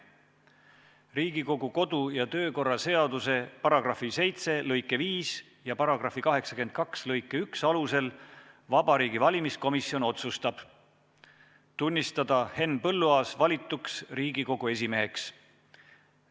Riigikogu kodu- ja töökorra seaduse § 7 lõike 5 ja § 82 lõike 1 alusel Vabariigi Valimiskomisjon otsustab: tunnistada Henn Põlluaas valituks Riigikogu esimeheks.